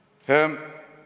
Ei ole nii!